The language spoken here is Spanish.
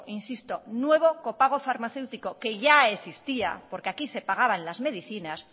insisto nuevo copago farmacéutico que ya existía porque aquí se pagaban las medicinas